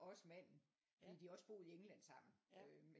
Også manden fordi de har også boet i England sammen men